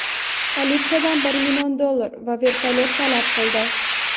politsiyadan bir million dollar va vertolyot talab qildi.